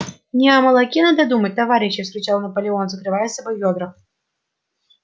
не о молоке надо думать товарищи вскричал наполеон закрывая собой ведра